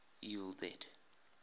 evil dead